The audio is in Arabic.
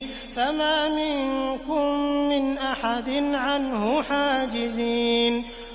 فَمَا مِنكُم مِّنْ أَحَدٍ عَنْهُ حَاجِزِينَ